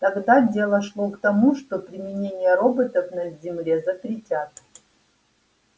тогда дело шло к тому что применение роботов на земле запретят